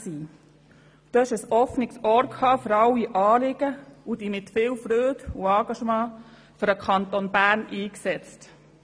Du hattest ein offenes Ohr für alle Anliegen und hast dich mit viel Freude und Engagement für den Kanton Bern eingesetzt.